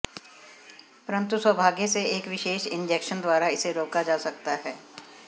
परंतु सौभाग्य से एक विशेष इंजेक्शन द्वारा इसे रोका जा सकता है